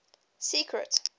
secret